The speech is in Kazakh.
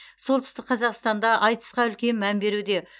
солтүстік қазақстанда айтысқа үлкен мән беруде